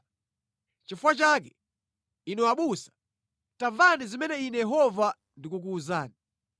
Chifukwa chake, inu abusa, tamvani zimene Ine Yehova ndikukuwuzani.